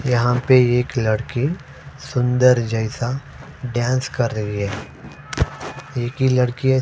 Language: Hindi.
यहाँ एक लड़की सुंदर जैसा डांस कर रही है एक ही लडकी है।